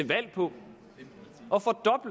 valg på